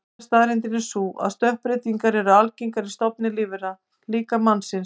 Þriðja staðreyndin er sú að stökkbreytingar eru algengar í stofnum lífvera, líka mannsins.